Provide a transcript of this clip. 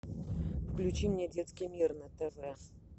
включи мне детский мир на тв